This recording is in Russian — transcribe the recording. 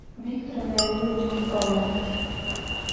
виктора леонидовича мозгового